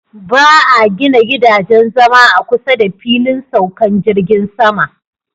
Ba 'a gina gidajen zama a kusa da filin saukan jirgin sama.